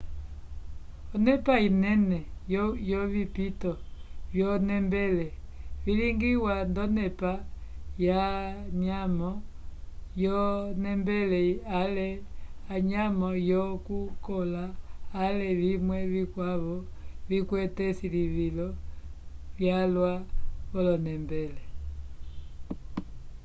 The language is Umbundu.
onepa inene yovipito vyonembele vilingiwa nd'onepa yanyamo yonembele ale anyamo yokukola ale vimwe vikwavo vikwete esilivilo lyalwa v'onembele